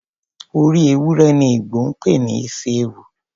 Orí ewúrẹ ni Igbo ń pè ní isi ewu.